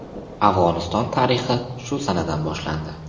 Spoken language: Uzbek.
Afg‘oniston tarixi shu sanadan boshlandi.